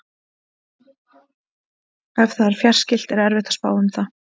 Ef það er fjarskylt er erfitt að spá um það.